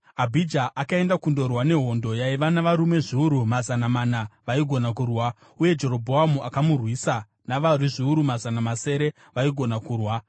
Abhija akaenda kundorwa nehondo yaiva navarume zviuru mazana mana vaigona kurwa, uye Jerobhoamu akamurwisa navarwi zviuru mazana masere vaigona kurwa.